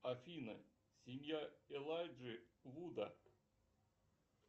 афина семья элайджи вуда